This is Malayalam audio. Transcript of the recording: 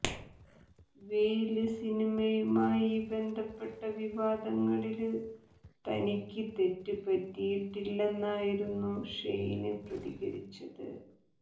വെയില് സിനിമയുമായി ബന്ധപ്പെട്ട വിവാദങ്ങളില് തനിക്ക് തെറ്റ് പറ്റിയിട്ടില്ലെന്നായിരുന്നു ഷെയിന് പ്രതികരിച്ചത്